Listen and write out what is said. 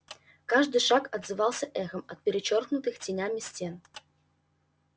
каждый шаг отзывался эхом от перечёркнутых тенями стен